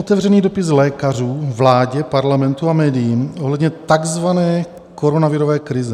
"Otevřený dopis lékařům, vládě, parlamentu a médiím ohledně takzvané koronavirové krize.